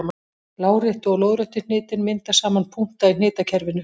Láréttu og lóðréttu hnitin mynda saman punkta í hnitakerfinu.